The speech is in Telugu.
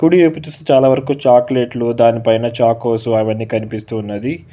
ఫుడి చాలా వరకు చాక్లెట్లు దాని పైన చాకోస్ అవన్ని కనిపిస్తు ఉన్నది.